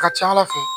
A ka ca ala fɛ